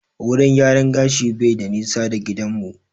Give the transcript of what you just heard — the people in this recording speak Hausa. Wurin gyaran gashin bai da nisa da gidan mu